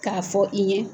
K'a fɔ i ɲe